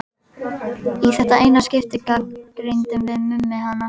Í þetta eina skipti gagnrýndum við Mummi hana.